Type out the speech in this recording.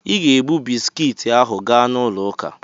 Ị ga-ebu bisikiiti ahụ gaa n'ụlọ ụka!